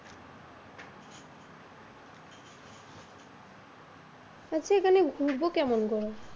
মানে এখানে ঘুরবো কেমন করে?